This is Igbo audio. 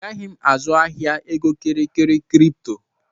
Anaghị m azụ ahịa egokịrịkịrị kripto